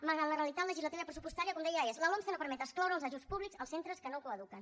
malgrat la realitat legislativa i pressupostària com deia és la lomce no permet excloure els ajuts públics als centres que no coeduquen